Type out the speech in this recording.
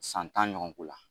San tan ɲɔgɔnko la